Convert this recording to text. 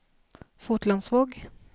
Fotlandsvåg